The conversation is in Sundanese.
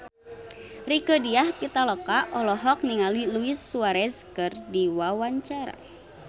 Rieke Diah Pitaloka olohok ningali Luis Suarez keur diwawancara